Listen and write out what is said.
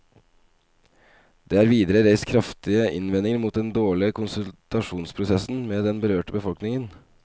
Det er videre reist kraftige innvendinger mot den dårlige konsultasjonsprosessen med den berørte befolkningen.